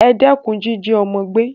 E dékun jíjí ọ́mọ́ gbé